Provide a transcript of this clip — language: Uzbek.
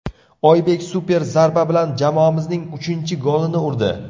Oybek super zarba bilan jamoamizning uchinchi golini urdi!